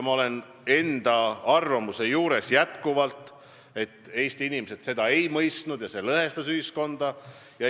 Ma jään enda arvamuse juurde, et Eesti inimesed seda kampaaniat ei mõistnud ja see lõhestas ühiskonda.